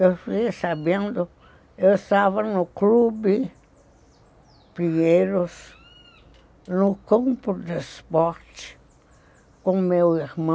Eu fiquei sabendo, eu estava no clube Pinheiros, no campo de esporte, com o meu irmão.